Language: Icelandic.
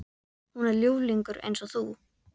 Hún er ljúflingur eins og þú.